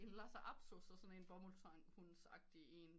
En lhasa apso så sådan en bomuldshund agtigt en